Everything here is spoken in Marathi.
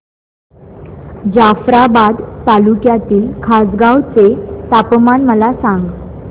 जाफ्राबाद तालुक्यातील खासगांव चे तापमान मला सांग